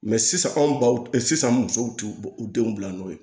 sisan anw baw sisan musow t'u denw bila n'o ye